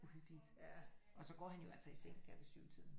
Uhyggeligt og så går han jo altså i seng der ved 7-tiden